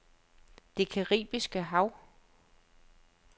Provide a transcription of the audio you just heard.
Det Caraibiske Hav